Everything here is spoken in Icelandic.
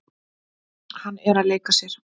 Hann er að leika sér.